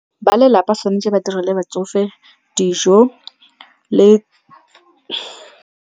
Ba lelapa tshwanetse ba dire le batsofe dijo le .